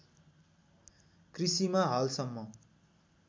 कृषिमा हालसम्म